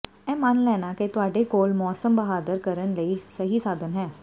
ਇਹ ਮੰਨ ਲੈਣਾ ਕਿ ਤੁਹਾਡੇ ਕੋਲ ਮੌਸਮ ਬਹਾਦਰ ਕਰਨ ਲਈ ਸਹੀ ਸਾਧਨ ਹਨ